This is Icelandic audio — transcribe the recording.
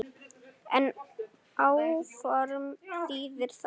En áform þýðir það ekki.